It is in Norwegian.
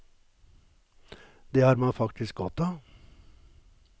Det har man faktisk godt av.